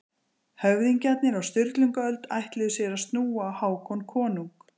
Höfðingjarnir á Sturlungaöld ætluðu sér að snúa á Hákon konung.